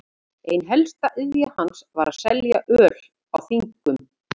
Ein helsta iðja hans var að selja öl á þingum.